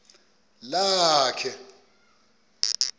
lakhe